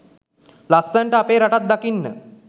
ලස්සනට අපේ රටත් දකින්න.